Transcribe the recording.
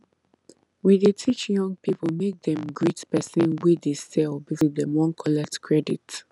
we dey teach young people make dem greet persin wey dey sell before dem wan collect credit